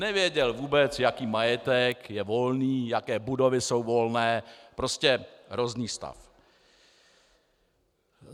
Nevěděl vůbec, jaký majetek je volný, jaké budovy jsou volné, prostě hrozný stav.